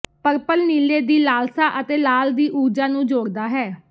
purple ਨੀਲੇ ਦੀ ਲਾਲਸਾ ਅਤੇ ਲਾਲ ਦੀ ਊਰਜਾ ਨੂੰ ਜੋੜਦਾ ਹੈ